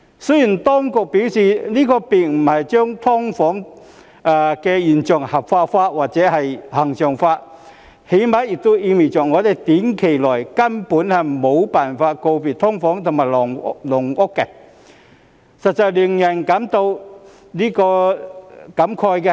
雖然當局表示這並不是要將"劏房"現象合法化、恆常化，但最低限度也意味着我們在短期內根本無法告別"劏房"和"籠屋"，實在令人感慨。